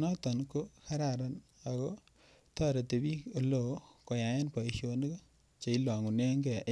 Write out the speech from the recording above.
noton ko kararan ago toreti biik eleoo koytaaen boishonik che ilongunenen gee.